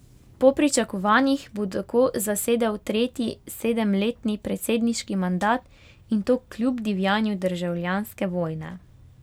Po pričakovanjih bo tako zasedel tretji sedemletni predsedniški mandat, in to kljub divjanju državljanske vojne.